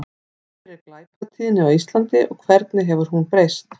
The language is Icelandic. Hver er glæpatíðni á Íslandi og hvernig hefur hún breyst?